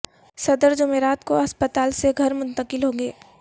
صدر جمعرات کو اسپتال سے گھر منتقل ہوں گے